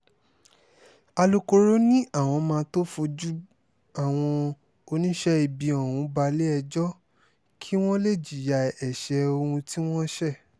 alūkkóró ni àwọn máa tóó fojú àwọn oníṣẹ́ ibi ọ̀hún balẹ̀-ẹjọ́ kí wọ́n lè jìyà ẹ̀ṣẹ̀ ohun tí wọ́n ṣe